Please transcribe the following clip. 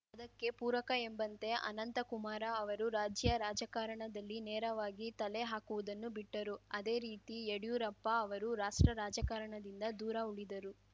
ಅದಕ್ಕೆ ಪೂರಕ ಎಂಬಂತೆ ಅನಂತಕುಮಾರ ಅವರು ರಾಜ್ಯ ರಾಜಕಾರಣದಲ್ಲಿ ನೇರವಾಗಿ ತಲೆ ಹಾಕುವುದನ್ನು ಬಿಟ್ಟರು ಅದೇ ರೀತಿ ಯಡ್ಯೂರಪ್ಪ ಅವರು ರಾಷ್ಟ್ರ ರಾಜಕಾರಣದಿಂದ ದೂರ ಉಳಿದರು